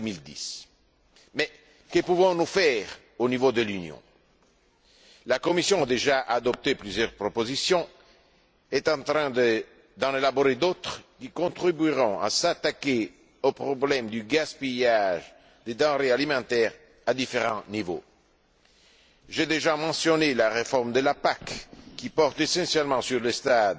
2010. Que pouvons nous faire au niveau de l'Union? La Commission, qui a déjà adopté plusieurs propositions, est en train d'en élaborer d'autres qui contribueront à s'attaquer au problème du gaspillage des denrées alimentaires à différents niveaux. J'ai déjà mentionné la réforme de la PAC, qui porte essentiellement sur le stade